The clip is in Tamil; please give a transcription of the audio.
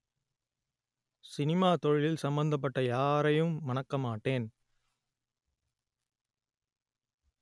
சினிமா தொழிலில் சம்பந்தப்பட்ட யாரையும் மணக்கமாட்டேன்